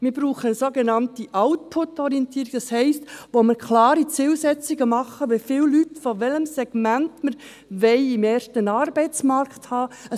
Wir brauchen eine sogenannte Output-Orientierung, das heisst wir machen klare Zielsetzungen, wie viele Leute von welchem Segment wir im ersten Arbeitsmarkt haben wollen.